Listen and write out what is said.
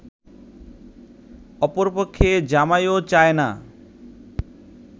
অপরপক্ষে জামাইও চায় না